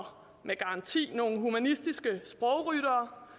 med garanti nogle humanistiske sprogryttere